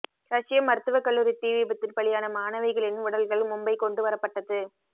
ரஷ்ய மருத்துவ கல்லூரி தீ விபத்தில் பலியான மாணவிகளின் உடல்கள் மும்பை கொண்டு வரப்பட்டது